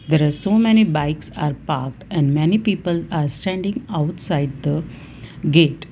there are so many bikes are parked and many people are standing outside the gate.